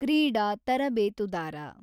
ಕ್ರೀಡಾ ತರಬೇತುದಾರ